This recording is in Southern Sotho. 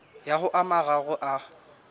ya ho a mararo a